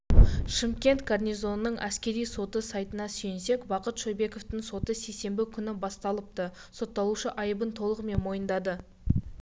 шымкент гарнизонының әскери соты сайтына сүйенсек бақыт шойбековтың соты сейсенбі күні басталыпты сотталушы айыбын толығымен мойындады